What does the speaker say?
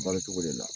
Balo cogo de la